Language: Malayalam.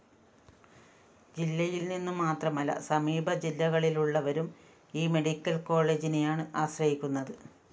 ജില്ലയില്‍നിന്നു മാത്രമല്ല സമീപ ജില്ലകളിലുള്ളവരും ഈ മെഡിക്കൽ കോളേജിനെയാണ് ആശ്രയിക്കുന്നത്